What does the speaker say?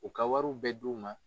U ka wariw bɛ di u ma